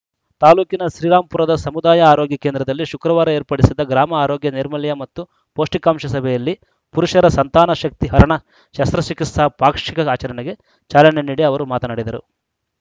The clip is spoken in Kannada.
ತಾಲೂಕಿನ ಶ್ರೀರಾಂಪುರದ ಸಮುದಾಯ ಆರೋಗ್ಯ ಕೇಂದ್ರದಲ್ಲಿ ಶುಕ್ರವಾರ ಏರ್ಪಡಿಸಿದ್ದ ಗ್ರಾಮ ಆರೋಗ್ಯ ನೈರ್ಮಲ್ಯ ಮತ್ತು ಪೌಷ್ಟಿಕಾಂಶ ಸಭೆಯಲ್ಲಿ ಪುರುಷರ ಸಂತಾನ ಶಕ್ತಿ ಹರಣ ಶಸ್ತ್ರಚಿಕಿತ್ಸಾ ಪಾಕ್ಷಿಕ ಆಚರಣೆಗೆ ಚಾಲನೆ ನೀಡಿ ಅವರು ಮಾತನಾಡಿದರು